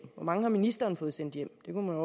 hvor mange har ministeren fået sendt hjem det kunne